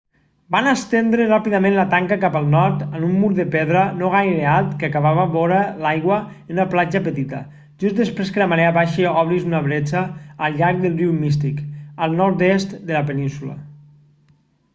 van estendre ràpidament la tanca cap al nord amb un mur de pedra no gaire alt que acabava vora l'aigua en una platja petita just després que la marea baixa obrís una bretxa al llarg del riu mystic al nord-est de la península